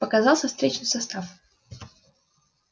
показался встречный состав